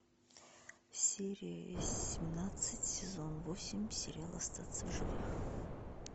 серия семнадцать сезон восемь сериал остаться в живых